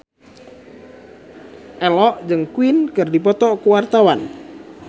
Ello jeung Queen keur dipoto ku wartawan